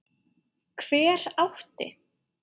Hver átti?